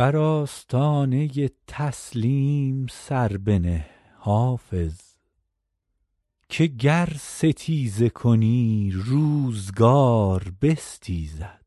برانگیزد بر آستانه تسلیم سر بنه حافظ که گر ستیزه کنی روزگار بستیزد